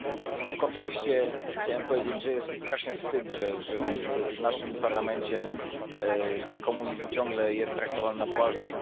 W tym kontekście chciałbym powiedzieć, że jest mi strasznie wstyd, że w naszym parlamencie komunizm ciągle jest traktowany na poważnie.